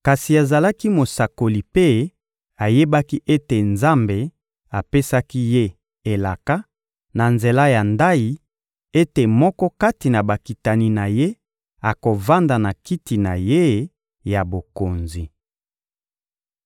Kasi azalaki mosakoli mpe ayebaki ete Nzambe apesaki ye elaka, na nzela ya ndayi, ete moko kati na bakitani na ye akovanda na kiti na ye ya bokonzi.